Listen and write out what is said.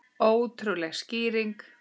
Ótrúleg skýring